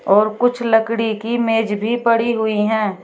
और कुछ लकड़ी की मेज भी पड़ी हुई है।